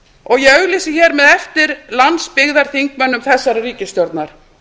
og ég auglýsi hér með eftir landsbyggðarþingmönnum þessarar ríkisstjórnar